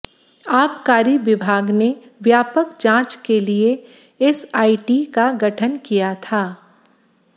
आबकारी विभाग ने व्यापक जांच के लिए एसआईटी का गठन किया था